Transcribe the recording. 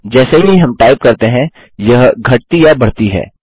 जैसे ही हम टाइप करते हैं यह घटती या बढ़ती है